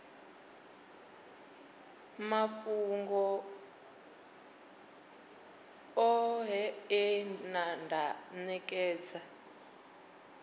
mafhungo oṱhe e nda nekedza